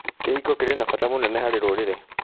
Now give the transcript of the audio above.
Kĩhiko kĩrĩ na bata mũnene harĩ rũrĩrĩ.